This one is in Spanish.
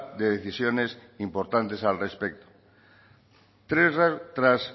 de decisiones importantes al respecto tras